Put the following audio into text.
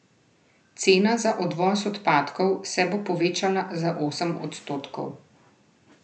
Cena za odvoz odpadkov se bo povečala za osem odstotkov.